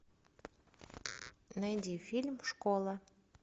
найди фильм школа